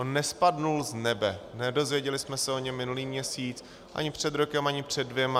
On nespadl z nebe, nedozvěděli jsme se o něm minulý měsíc, ani před rokem, ani před dvěma.